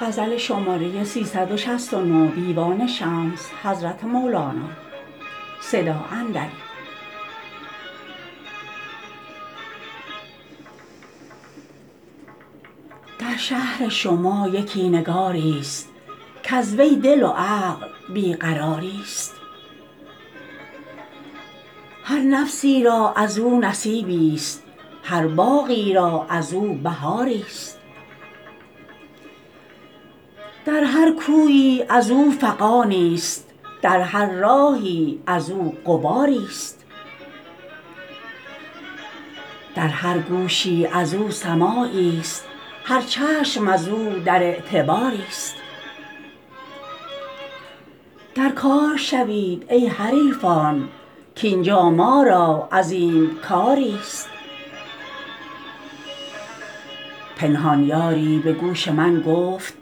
در شهر شما یکی نگاریست کز وی دل و عقل بی قراریست هر نفسی را از او نصیبیست هر باغی را از او بهاریست در هر کویی از او فغانیست در هر راهی از او غباریست در هر گوشی از او سماعیست هر چشم از او در اعتباریست در کار شوید ای حریفان کاین جا ما را عظیم کاریست پنهان یاری به گوش من گفت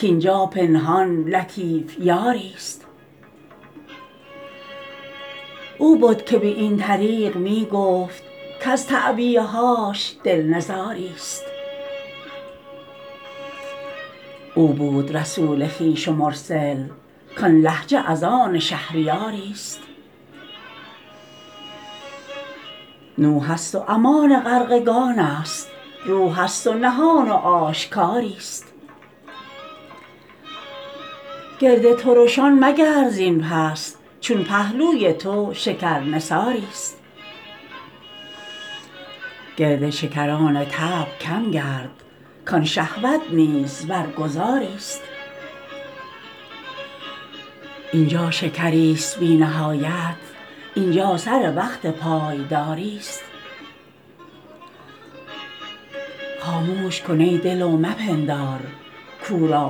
کاین جا پنهان لطیف یاریست او بد که به این طریق می گفت کز تعبیه هاش دل نزاریست او بود رسول خویش و مرسل کان لهجه از آن شهریاریست نوحست و امان غرقگانست روحست و نهان و آشکاریست گرد ترشان مگرد زین پس چون پهلوی تو شکرنثاریست گرد شکران طبع کم گرد کان شهوت نیز برگذاریست این جا شکریست بی نهایت این جا سر وقت پایداریست خاموش کن ای دل و مپندار کو را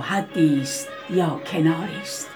حدیست یا کناریست